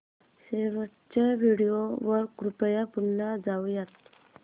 शेवटच्या व्हिडिओ वर कृपया पुन्हा जाऊयात